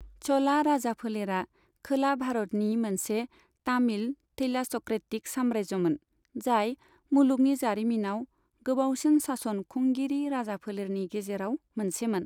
च'ला राजाफोलेरा खोला भारतनि मोनसे तामिल थैलास'क्रेटिक साम्रायजोमोन, जाय मुलुगनि जारिमिनाव गोबावसिन सासन खुंगिरि राजाफोलेरनि गेजेराव मोनसेमोन।